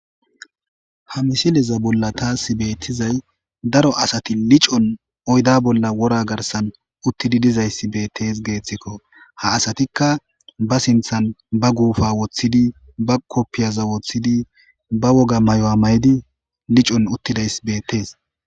ha misileza bolla taas beettizay daro asati licon oyda bolla wora garsan uttidi dizayssi beettees geeththikko ha asatikka ba sinthan ba guupa woththidi ba koppiyaza woththidi ba woga mayuwa mayidi licon uttidays beettees